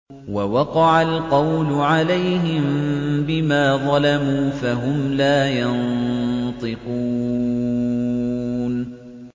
وَوَقَعَ الْقَوْلُ عَلَيْهِم بِمَا ظَلَمُوا فَهُمْ لَا يَنطِقُونَ